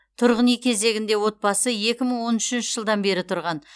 тұрғын үй кезегінде отбасы екі мың он үшінші жылдан бері тұрған